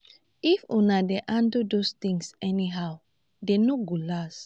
if una dey handle those things anyhow dey no go last